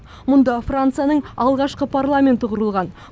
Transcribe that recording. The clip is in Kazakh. мұнда францияның алғашқы парламенті құрылған